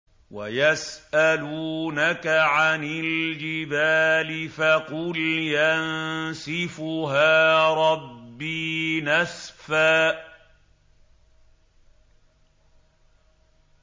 وَيَسْأَلُونَكَ عَنِ الْجِبَالِ فَقُلْ يَنسِفُهَا رَبِّي نَسْفًا